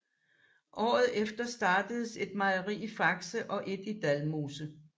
Året efter startedes et mejeri i Fakse og et i Dalmose